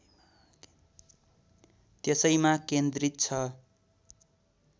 त्यसैमा केन्द्रित छ